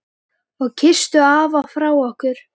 Og kysstu afa frá okkur.